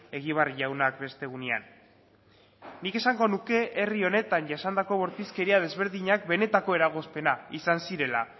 egibar jaunak beste egunean nik esango nuke herri honetan jasandako bortizkeria desberdinak benetako eragozpena izan zirela